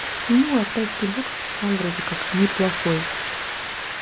ну а тайский бокс там вроде как не плохой